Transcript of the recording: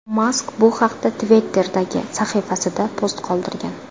Mask bu haqda Twitter’dagi sahifasida post qoldirgan .